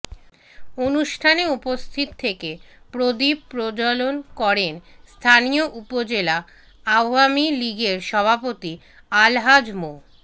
অনুষ্ঠানে উপস্থিত থেকে প্রদীপ প্রজ্জলন করেন স্থানীয় উপজেলা আওয়ামী লীগের সভাপতি আলহাজ মো